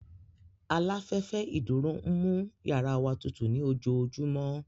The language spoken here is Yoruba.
Aláfẹ́fẹ́ ìdúró ń mú yàrá wa tutù ní ojoojúmọ́